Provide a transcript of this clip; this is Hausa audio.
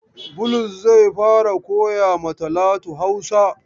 Bulus zai fara koya ma Talatu Hausa.